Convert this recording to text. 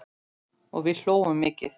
Og við hlógum mikið.